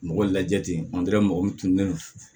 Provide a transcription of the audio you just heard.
Mɔgɔ lajɛ ten mɔgɔw tun bɛ